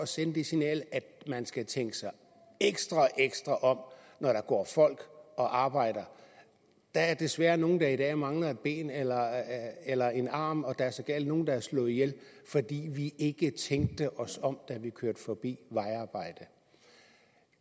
sende det signal at man skal tænke sig ekstra ekstra om når der går folk og arbejder der er desværre nogle der i dag mangler et ben eller eller en arm og der er sågar nogle der er blevet slået ihjel fordi vi ikke tænkte os om da vi kørte forbi et vejarbejde